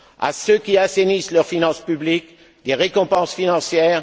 À ceux qui assainissent leurs finances publiques, des récompenses financières